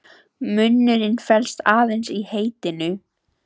Munurinn felst aðeins í heitinu.